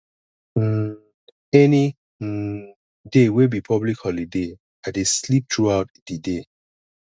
um any um day wey be public holiday i dey sleep throughout di day